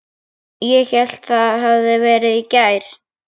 Ég hélt það hefði verið í gær.